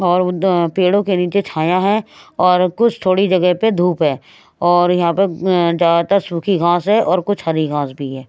और पेड़ों के नीचे छाया है और कुछ थोड़ी जगह पर धूप है और यहाँ पर ज्यादातर सूखी घास है और कुछ हरी घास भी है।